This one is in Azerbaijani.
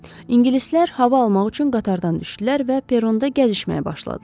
İngilislər hava almaq üçün qatardan düşdülər və peronda gəzişməyə başladılar.